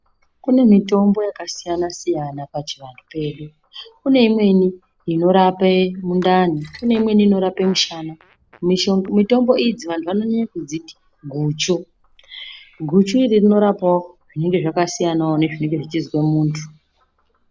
Kunemitombo yakasiyana siyana pachivanhu pedu. Kuneyimweni inorape mundani, kunyimweni inorape mushana. Mitombo idzi vanhu vanodziti guchu. Guchi iro rinorape zvinenge zvakasiyana wo nezvinenge zvichizve muntu.